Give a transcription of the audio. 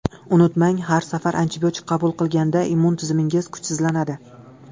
Unutmang, har safar antibiotik qabul qilganda immun tizimingiz kuchsizlanadi.